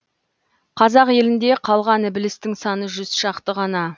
қазақ елінде қалған ілбістің саны жүз шақты ғана